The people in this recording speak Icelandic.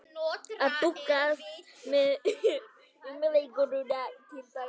Hvað með humarinn til dæmis?